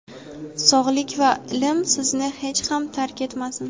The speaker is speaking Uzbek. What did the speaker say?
sog‘lik va ilm sizni hech ham tark etmasin.